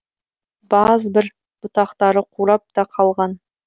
баз бір бұтақтары қурап та қалған